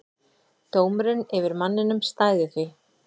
Dómurinn yfir manninum stæði því.